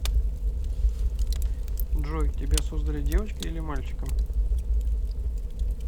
джой тебя создали девочкой или мальчиком